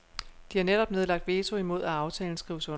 De har netop nedlagt veto imod at aftalen skrives under.